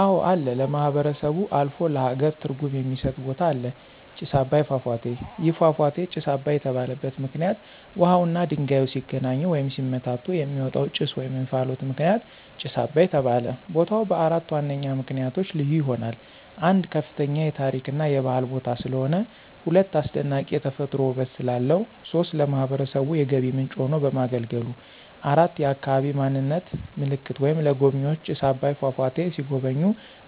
አወ አለ ለማህበረሰቡ አልፎ ለሃገር ትርጉም የሚስጥ ቦታ አለ። ጭስ አባይ ፏፏቴ። ይህ ፏፏቴ ጭስ አባይ የተባለበት ምክንይት ውሃውና ድንጋዩ ሲገናኙ ወይም ሲመታቱ የሚወጣው ጭስ /እንፍሎት ምክንያት ጭስ አባይ ተባለ። ቦታው በአራት ዋነኛ ምክንያቶች ልዩ ይሆናል። 1, ከፍተኛ የታሪክ እና የባህል ቦታ ስለሆነ። 2, አስደናቂ የተፈጥሮ ውበት ስላለው። 3, ለማህበረሰቡ የገቢ ምንጭ ሆኖ በማገልገሉ። 4, የአካባቢ ማንነት ምልክት ወይም ለጎብኝዎች ጭስ አባይ ፏፏቴ ሲጎበኙ